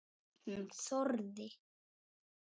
Hún þorði.